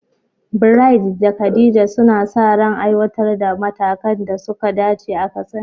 Bright da Khadija suna sa ran aiwatar da matakan da suka dace a Katsina.